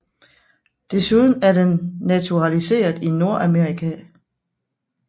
Desuden er den naturaliseret i Nordamerika